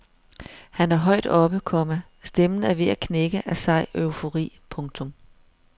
Han er højt oppe, komma stemmen er ved at knække af sej eufori. punktum